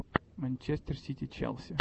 манчестер сити челси